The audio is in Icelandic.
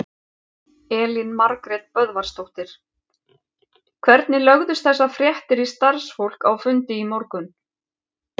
Elín Margrét Böðvarsdóttir: Hvernig lögðust þessar fréttir í starfsfólk á fundi í morgun?